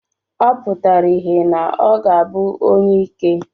Ọ pụtara ìhè na ọ ga-abụ onyeike.